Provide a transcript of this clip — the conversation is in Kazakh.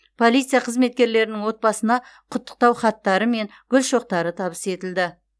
полиция қызметкерлерінің отбасыларына құттықтау хаттары мен гүл шоқтары табыс етілді